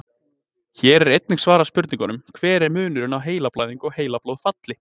Hér er einnig svarað spurningunum: Hver er munurinn á heilablæðingu og heilablóðfalli?